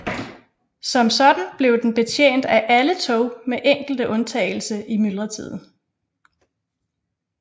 Som sådan blev den betjent af alle tog med enkelte undtagelse i myldretiden